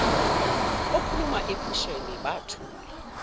okhuluma ephusheni bathula